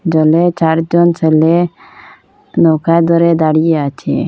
জলে চারজন ছেলে নৌকা ধরে দাঁড়িয়ে আছে।